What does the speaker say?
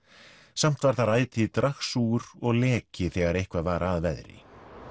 samt var þar ætíð dragsúgur og leki þegar eitthvað var að veðri